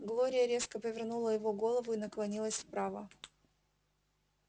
глория резко повернула его голову и наклонилась вправо